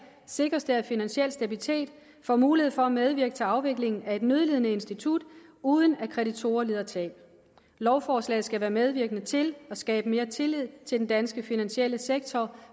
sikres det at finansiel stabilitet as får mulighed for at medvirke til afviklingen af et nødlidende institut uden at kreditorer lider tab lovforslaget skal være medvirkende til at skabe mere tillid til den danske finansielle sektor